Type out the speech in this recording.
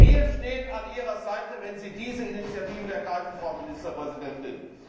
Wir stehen an Ihrer Seite, wenn Sie diese Initiativen ergreifen, Frau Ministerpräsidentin.